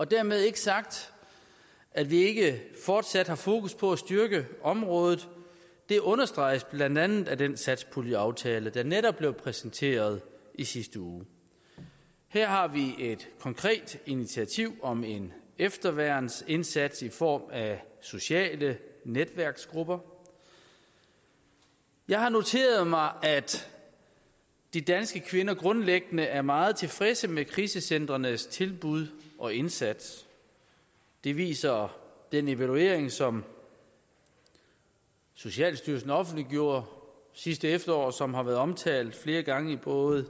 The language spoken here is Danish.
dermed ikke sagt at vi ikke fortsat har fokus på at styrke området det understreges blandt andet af den satspuljeaftale der netop blev præsenteret i sidste uge her har vi et konkret initiativ om en efterværnsindsats i form af sociale netværksgrupper jeg har noteret mig at de danske kvinder grundlæggende er meget tilfredse med krisecentrenes tilbud og indsats det viser den evaluering som socialstyrelsen offentliggjorde sidste efterår som har været omtalt flere gange både